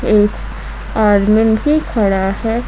एक आदमीन भी खड़ा है।